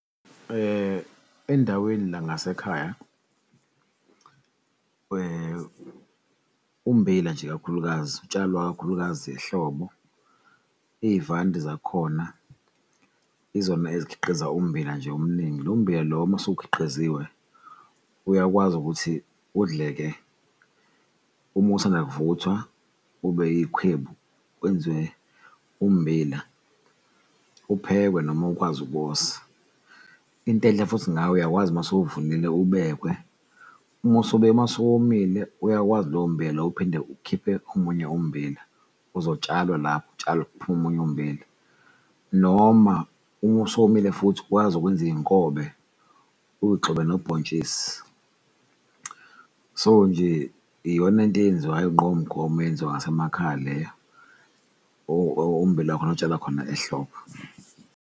Endaweni la ngasekhaya ummbila nje kakhulukazi utshalwa kakhulukazi ehlobo iyivande zakhona izona ezikhiqiza ummbila nje omningi, lo mmbila lowo mase ukhiqiziwe uyakwazi ukuthi udleke uma usanda kuvuthwa ube iy'khwebu, kwenziwe ummbila, uphekwe noma ukwazi ukuwosa intenhle futhi ngayo uyakwazi masewuvunile ubekwe. Uma usuwomile uyakwazi lowo mmbila ukuphinde ukhiphe omunye ummbila ozotshalwa lapho utshalwe kuphume omunye ummbila, noma uma usuwomile futhi wazi ukwenza izinkobe uyigxobe nobhontshisi. So, nje iyona into eyenziwayo nqo khona eyenziwa ngasemakhaya leyo, ommbila khona otshala khona ehlobo.